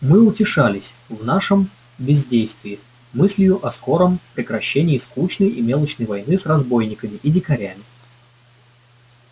мы утешались в нашем бездействии мыслью о скором прекращении скучной и мелочной войны с разбойниками и дикарями